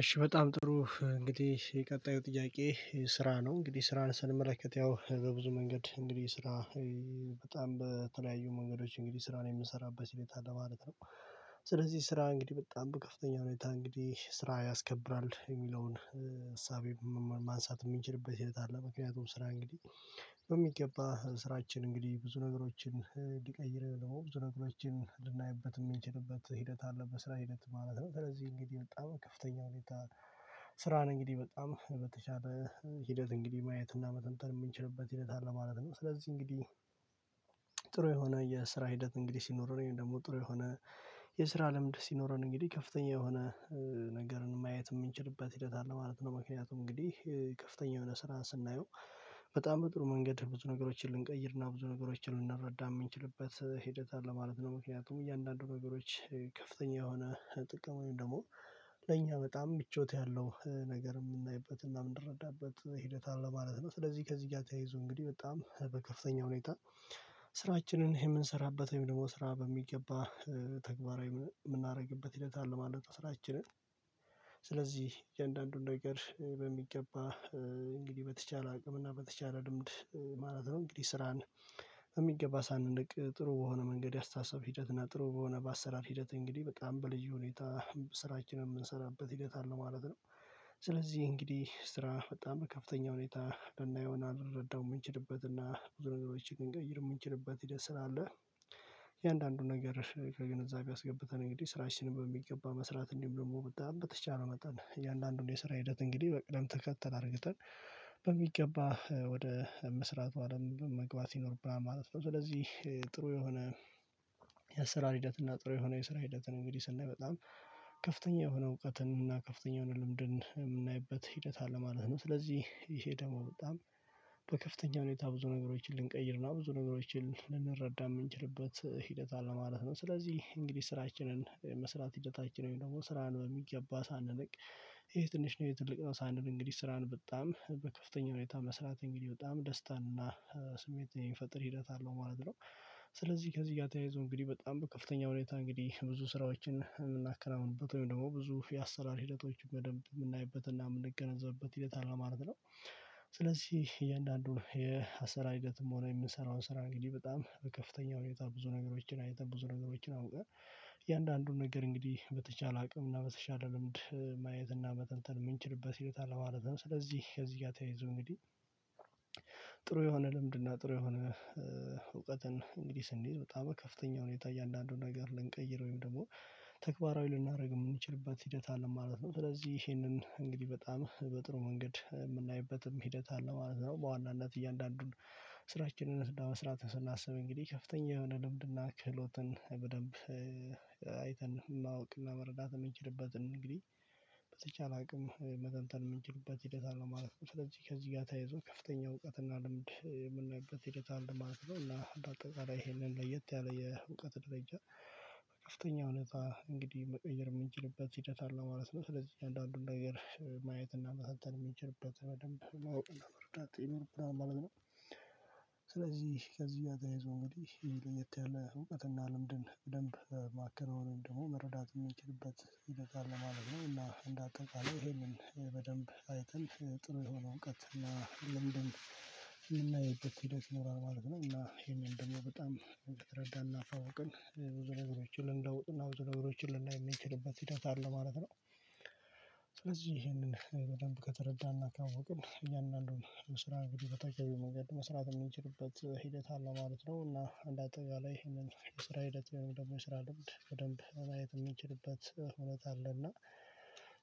እሺ በጣም ጥሩ እንግዲህ የቀጣዩ ጥያቄ ስራ ነው እንግዲህ ስራን ስንመለከት ያው በብዙ መንገድ እንግዲህ ስራ በጣም በተለያዩ መንገዶች እንግዲህ ስራን የምንሰራበት ሁኔታ ለማለት ነው። ስለዚህ ስራ እንግዲህ በጣም በከፍተኛ ሁኔታ እንግዲህ ስራ ያስከብራል የሚለውን እሳቤ ማንሳት የምንችልበት ሂደት አለ። ምክንያቱም ስራ እንግዲህ በሚገባ ስራችን እንግዲህ ብዙ ነገሮችን ሊቀይር ነው ብዙ ነገሮችን ልናይበት የምንችልበት ሂደት አለበት ስራ ሂደት ማለት ነው። ስለዚህ እንግዲህ በጣም ከፍተኛ ሁኔታ። ስራ ነው እንግዲህ በጣም በተቻለ ሂደት እንግዲህ ማየት እና መተንተን የምንችልበት ሂደት አለ ማለት ነው። ስለዚህ እንግዲህ ጥሩ የሆነ የስራ ሂደት እንግዲህ ሲኖረን ወይም ደግሞ ጥሩ የሆነ የስራ ልምድ ሲኖረን እንግዲህ ከፍተኛ የሆነ ነገርን ማየት የምንችልበት ሂደት አለ ማለት ነው። ምክንያቱም እንግዲህ ከፍተኛ የሆነ ስራን ስናየው በጣም በጥሩ መንገድ ብዙ ነገሮችን ልንቀይርና ብዙ ነገሮችን ልንረዳ የምንችልበት ሂደት አለ ማለት ነው። ምክንያቱም እያንዳንዱ ነገሮች ከፍተኛ የሆነ ጥቅም ደግሞ ለእኛ በጣም ምቾት ያለው ነገር የምናይበት እና የምንረዳበት ሂደት አለ ማለት ነው። ስለዚህ ከዚህ ጋር ተያይዞ እንግዲህ በጣም በከፍተኛ ሁኔታ ስራችንን የምንሰራበት ወይም ደግሞ ስራ በሚገባ ተግባራዊ የምናደርግበት ሂደት አለ ማለት ነው። ስራችንን ስለዚህ የእያንዳንዱን ነገር በሚገባ እንግዲህ በተቻለ አቅም እና በተቻለ ልምድ ማለት ነው እንግዲህ ስራን የሚገባ ሳንንቅ ጥሩ የሆነ መንገድ ያስታተሳሰብ ሂደት እና ጥሩ በሆነ ባሰራር ሂደት እንግዲህ በጣም በልዩ ሁኔታ ስራችንን ምንሰራበት ሂደት አለ ማለት ነው። ስለዚህ እንግዲህ ስራ በጣም ከፍተኛ ሁኔታ ልናየውና አንረዳውም የምንችልበትና ብዙ ነገሮችን ልንቀይር የምንችልበት ሂደት አለ። የእያንዳንዱን ነገር ከግንዛቤ አስገብተን እንግዲህ ስራችን በሚገባ መስራት እንዲሁም ደግሞ በተቻለ መጠን እያንዳንዱን የስራ ሂደት እንግዲህ በቅደም ተከተል አድርግተን በሚገባ ወደ መስራቱ አለም መግባት ይኖርብና ማለት ነው። ስለዚህ ጥሩ የሆነ የአሰራር ሂደት እና ጥሩ የሆነ የስራ ሂደትን እንግዲህ ስንል በጣም ከፍተኛ የሆነ እውቀትን እና ከፍተኛ የሆነ ልምድን የምናይበት ሂደት አለ ማለት ነው። ስለዚህ ይሄ ደግሞ በጣም በከፍተኛ ሁኔታ ብዙ ነገሮችን ልንቀይርና ብዙ ነገሮችን ልንረዳ የምንችልበት ሂደት አለ ማለት ነው። ስለዚህ እንግዲህ ስራችንን መስራት ሂደታችን ወይም ደግሞ ስራን በሚገባ ሳንንቅ ይሄ ትንሽ ነው ይሄ ትልቅ ነው ሳንል እንግዲህ ስራን በጣም በከፍተኛ ሁኔታ መስራት እንግዲህ በጣም ደስታና ስሜት የሚፈጥር ሂደት አለው ማለት ነው። ስለዚህ ከዚህ ጋር ተያይዞ እንግዲህ በጣም ከፍተኛ ሁኔታ እንግዲህ ብዙ ስራዎችን የምናከናውኑበት ወይም ደግሞ ብዙ የአሰራር ሂደቶች በደንብ የምናይበትና የምንገነዘብበት ሂደት አለ ማለት ነው። ስለዚህ እያንዳንዱን የአሰራር ሂደትም ሆነ የምንሰራውን ስራ እንግዲህ በጣም በከፍተኛ ሁኔታ ብዙ ነገሮችን አይነት ብዙ ነገሮችን አሁን በእያንዳንዱን ነገር እንግዲህ በተቻለ አቅም እና በተቻለ ልምድ ማየት እና መተንተን የምንችልበት ሂደት አለ ማለት ነው። ስለዚህ ከዚህ ጋር ተያይዞ እንግዲህ ጥሩ የሆነ ልምድና ጥሩ የሆነ እውቀትን እንግዲህ ስንይዝ በጣም ከፍተኛ ሁኔታ እያንዳንዱን ነገር ልንቀይር ወይም ደግሞ ተግባራዊ ልናደርግ የምንችልበት ሂደት አለ ማለት ነው። ስለዚህ ይሄንን እንግዲህ በጣም በጥሩ መንገድ የምናይበትም ሂደት አለ ማለት ነው። በዋናነት እያንዳንዱን ስራችንን ለመስራት ስናስብ እንግዲህ ከፍተኛ የልምድና ክህሎትን በደንብ አይተን ማወቅና መረዳት የምንችልበትን እንግዲህ በተቻለ አቅም መተንተን የምንችልበት ሂደት አለው ማለት ነው። ስለዚህ ከዚህ ጋር ተያይዞ ከፍተኛ እውቀትና ልምድ የምናይበት የቴክኒክ አለ ማለት እና አጠቃላይ ይሄንን ለየት ያለ የእውቀት ደረጃ በከፍተኛ ሁኔታ እንግዲህ መቀየር የምንችልበት ሂደት አለ ማለት ነው። ስለዚህ አንዳንዱን ነገር ማየት እና መተንተን የሚችልበት በደንብ ማወቅ ነው መርዳት ይኖርብናል ማለት ነው። ስለዚህ ከዚህ ጋር ተያይዞ እንግዲህ የተለየ እውቀትና ልምድን በደንብ ማከናወን ደግሞ መረዳት የሚችልበት ይበቃል ማለት ነው። እና እንዳጠቃላይ ይሄንን በደንብ አይተን ጥሩ የሆነ እውቀት እና ለምን የምናየው የት ሄዶች ሞራል ማድረግ ነው እና ይሄንን ደግሞ በጣም ብትረዳና አፍራውቀን ብዙ ነገሮችን ልንደውጥና ብዙ ነገሮችን ልንደውጥ የሚችልበት ሂደት አለ ማለት ነው። ስለዚህ ይሄንን በደንብ ከተረዳንና ካወቅን እያንዳንዱን ስራ እንግዲህ በተገቢው መንገድ መስራት እምንችልበት ሂደት አለው ማለት ነው። እና እንደ አጠቃላይ ይሄንን ስራ ሂደት የሆነው ደግሞ የስራ ልምድ በደንብ ማየት የምንችልበት እውነት አለና።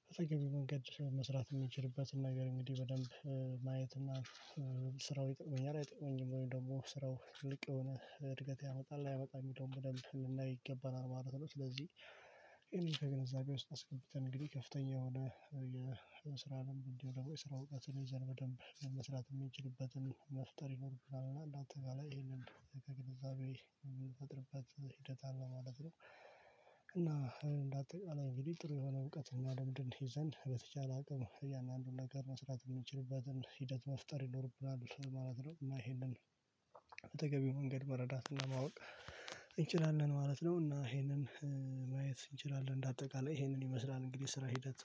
በተገቢ መንገድ መስራት የምንችልበትን ነገር እንግዲህ በደንብ ማየት እና ስራው ይጠቅመኛል አይጠቅመኝም ወይ ደግሞ ስራው ትልቅ የሆነ እድገት ያመጣል አያመጣም ይሄንን በደንብ ልናይ ይገባናል ማለት ነው። ስለዚህ ይሄንን ከግንዛቤ ውስጥ አስገብተን እንግዲህ ከፍተኛ የሆነ እንዲህ ደግሞ የስራ እውቀትን ይዘን በደንብ መስራት የሚችልበትን መፍጠር ይኖርብናል አንዳንጠቃላይ በቃ ይሄንን ከግንዛቤ የምንተጥርበት ሂደት አለ ማለት ነው። እና እንዳትቀመጥ ጥሩ የሆነ እውቀት ማንም ድንት ይዘን በተቻለ አቅም ያንን ነገር መስራት የምንችልበትን ሂደት መፍጠር ይኖርብናል ማለት ነው። እና ይሄንን በተገቢው መንገድ መረዳት ማወቅ እንችላለን ማለት ነው። እና ይሄንን ማየት እንችላለን እንደ አጠቃላይ ይሄንን ይመስላል እንግዲህ ስራ ሂደት